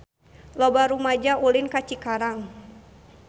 Loba rumaja ulin ka Cikarang